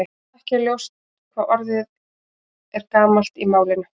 Ekki er ljóst hvað orðið er gamalt í málinu.